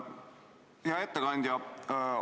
Hea ettekandja!